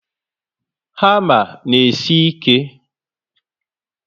Hama na esi ike